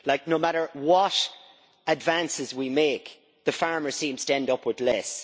No matter what advances we make, the farmer seems to end up with less.